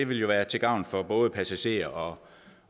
vil være til gavn for både passagerer og